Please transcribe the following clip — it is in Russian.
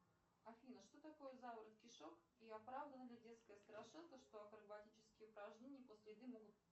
афина что такое заворот кишок и оправдана ли детская страшилка что акробатические упражнения после еды могут